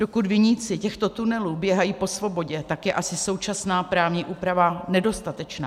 Dokud viníci těchto tunelů běhají po svobodě, tak je asi současná právní úprava nedostatečná.